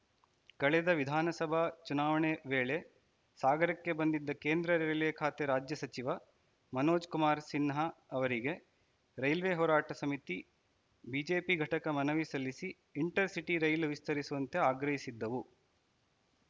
ಕಳೆದ ವಿಧಾನಸಭಾ ಚುನಾವಣೆ ವೇಳೆ ಸಾಗರಕ್ಕೆ ಬಂದಿದ್ದ ಕೇಂದ್ರ ರೈಲ್ವೆ ಖಾತೆ ರಾಜ್ಯ ಸಚಿವ ಮನೋಜಕುಮಾರ್‌ ಸಿನ್ಹಾ ಅವರಿಗೆ ರೈಲ್ವೆ ಹೋರಾಟ ಸಮಿತಿ ಬಿಜೆಪಿ ಘಟಕ ಮನವಿ ಸಲ್ಲಿಸಿ ಇಂಟರ್‌ಸಿಟಿ ರೈಲು ವಿಸ್ತರಿಸುವಂತೆ ಆಗ್ರಹಿಸಿದ್ದವು